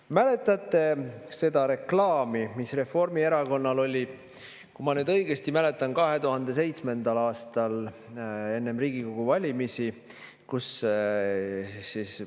Kas mäletate seda reklaami, mis Reformierakonnal oli, kui ma nüüd õigesti mäletan, 2007. aastal enne Riigikogu valimisi?